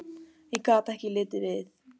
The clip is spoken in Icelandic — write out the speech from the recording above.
Ég gat ekki litið við.